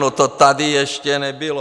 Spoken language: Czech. No, to tady ještě nebylo.